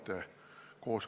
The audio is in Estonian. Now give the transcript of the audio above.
Need ei ole valdavalt eluhooned.